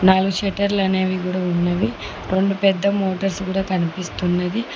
నాలుగు షెటర్లు అనేవి కూడా ఉన్నవి. రెండు పెద్ద మోటర్స్ కూడా కనిపిస్తున్నవి.